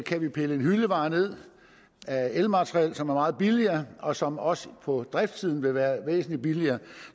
kan vi pille en hyldevare ned af elmateriel som er meget billigere og som også på driftssiden vil være væsentlig billigere